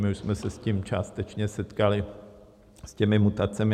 My už jsme se s tím částečně setkali, s těmi mutacemi.